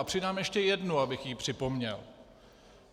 A přidám ještě jednu, abych ji připomněl.